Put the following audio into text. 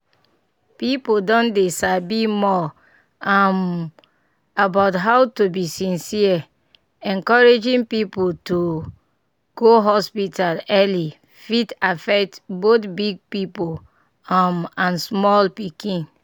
people don dey sabi more um about how to be sincere encouraging people to go hospital early fit affect both big people um and small pikin.